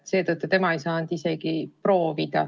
Seetõttu tema ei saanud isegi proovida.